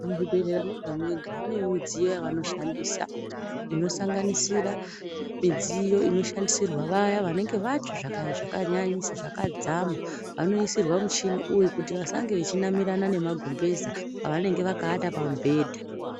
Muzvibhedhlera mwega mwega mune mudziyo yavanoshandisa inosanganisira midziyo inoshandisirwa vaya vanenge vatsva zvakanyanyisa zvakadzama vanoisirwa mushini uyu kuti vasange vechinamirana nemagumbeza avanenge vakawata pamubhedha.